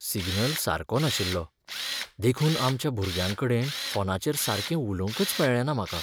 Signal सारको नाशिल्लो, देखून आमच्या भुरग्यांकडेन फोनाचेर सारकें उलोवंकच मेळ्ळेंना म्हाका.